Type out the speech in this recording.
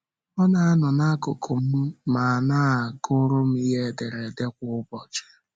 Ọ na - anọ n’akụkụ m ma na - agụrụ m ihe ederede kwa ụbọchị.